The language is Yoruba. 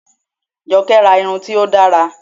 Jọkẹ́ ra irun tí ó dára